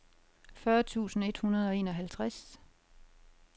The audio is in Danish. fyrre tusind et hundrede og enoghalvtreds